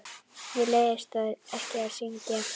Mér leiðist ekki að syngja.